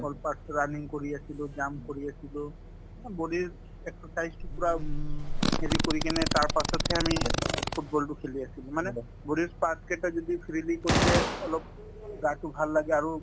running কৰি আছিলো jump কৰি আছিলো অ body ৰ exercise তো পূৰা হেৰি কৰি কিনে তাৰপাছতহে আমি অ football তো খেলি আছিলো মানে body ৰ parts কেইটা যদি freely কৰিলে অলপ গাতো ভাল লাগে আৰু